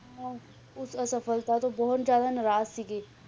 ਉਸ ਅਸਫਲਤਾ ਤੋਂ ਬਹੁਤ ਜ਼ਿਆਦਾ ਨਾਰਾਜ਼ ਸੀਗੇ।